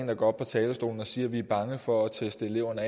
der går op på talerstolen og siger at vi er bange for at teste eleverne